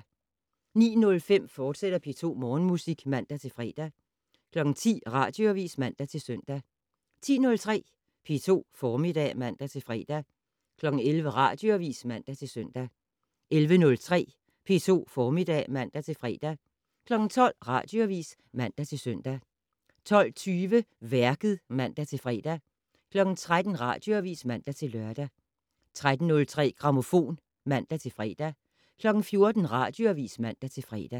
09:05: P2 Morgenmusik, fortsat (man-fre) 10:00: Radioavis (man-søn) 10:03: P2 Formiddag (man-fre) 11:00: Radioavis (man-søn) 11:03: P2 Formiddag (man-fre) 12:00: Radioavis (man-søn) 12:20: Værket (man-fre) 13:00: Radioavis (man-lør) 13:03: Grammofon (man-fre) 14:00: Radioavis (man-fre)